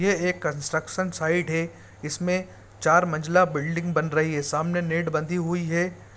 यह एक construction site है इसमें चार मंजिला बिल्डिंग बन रही है सामने नेड बंधी हुई है--